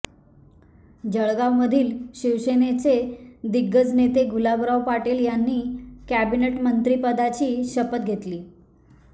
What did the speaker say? जळगावमधील शिवसेनेचे दिग्गज नेते गुलाबराव पाटील यांनी कॅबिनेट मंत्रिपदाची शपथ घेतली